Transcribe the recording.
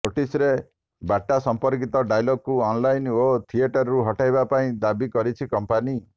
ନୋଟିସରେ ବାଟା ସମ୍ପର୍କିତ ଡାଇଲଗକୁ ଅନଲାଇନ ଓ ଥିଏଟରରୁ ହଟାଇବା ପାଇଁ ଦାବି କରିଛି କମ୍ପାନୀ